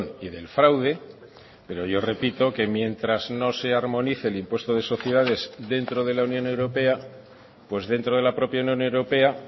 y del fraude pero yo repito que mientras no se armonice el impuesto de sociedades dentro de la unión europea pues dentro de la propia unión europea